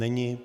Není.